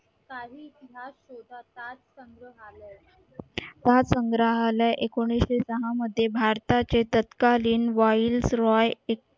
संग्रहालय एकोणीशे सहा मध्ये भारताचे तत्कालीन wilds roy